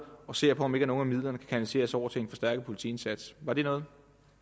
og ser på om ikke nogle af midlerne kan kanaliseres over til en forstærket politiindsats var det noget